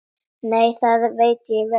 Nei, það veit ég vel.